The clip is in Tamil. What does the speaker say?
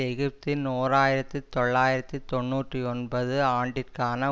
எகிப்தின் ஓர் ஆயிரத்தி தொள்ளாயிரத்தி தொன்னூற்றி ஒன்பது ஆண்டிற்கான